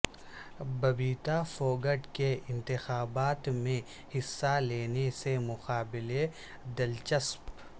ببیتا پھوگٹ کے انتخابات میں حصہ لینے سے مقابلہ دلچسپ